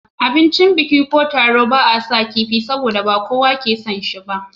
A abincin biki ko taro ba a saka kifi, saboda ba kowane yake son shi ba.